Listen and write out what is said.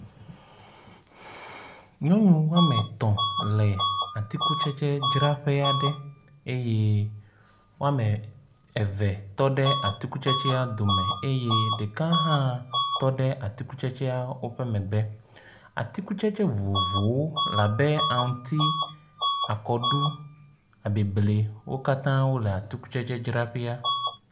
Nyɔnu woame tɔ̃ le atikutsetsedzraƒe aɖe eye woame eve tɔ ɖe atikutsetsea dome eye ɖeka hã tɔ ɖe atikutsetsea woƒe megbe. Atikutsetse vovovowo labe aŋuti, akɔɖu, abeble wo katã wole atikutsetseadzraƒea.